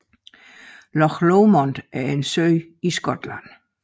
Loch Lomond er en sø i Skotland